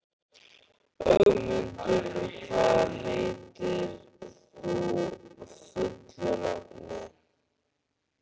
Ögmundur, hvað heitir þú fullu nafni?